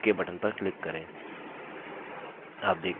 अब ok button पर click करें